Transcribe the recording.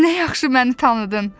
Nə yaxşı məni tanıdın!